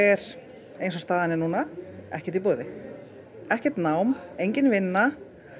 er eins og staðan er núna ekkert í boði ekkert nám engin vinna